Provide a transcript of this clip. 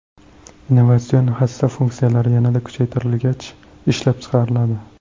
Innovatsion hassa funksiyalari yanada kuchaytirilgach, ishlab chiqariladi.